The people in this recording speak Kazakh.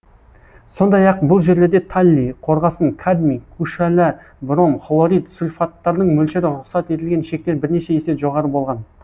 сондай ақ бұл жерлерде таллий қорғасын кадмий күшәла бром хлорид сульфаттардың мөлшері рұқсат етілген шектен бірнеше есе жоғары болған